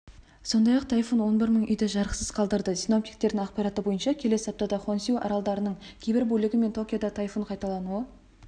сондай-ақ тайфун он бір мың үйді жарықсыз қалдырды синоптиктердің ақпараты бойынша келесі аптада хонсю аралдарының кейбір бөлігі мен токиода тайфун қайталануы